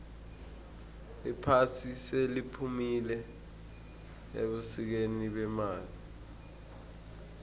iphasi seliphumile ebusikeni bemali